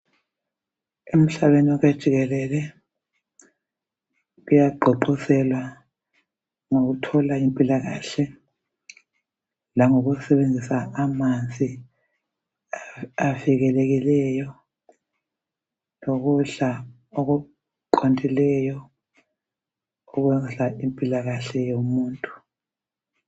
Emhlabeni wonke jikelele kuyagqugquzelwa ngokuthola impilakahle langokusebenzisa amanzi avikelekileyo lokudla okuqondileyo okondla impilakahle yomuntu.